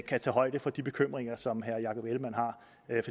tage højde for de bekymringer som herre jakob ellemann